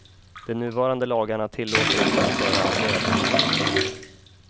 De nuvarande lagarna tilllåter inte en större andel.